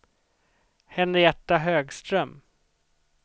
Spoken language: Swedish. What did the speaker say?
Henrietta Högström